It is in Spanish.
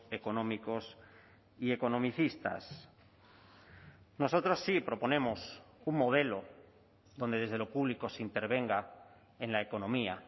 económicos y economicistas nosotros sí proponemos un modelo donde desde lo público se intervenga en la economía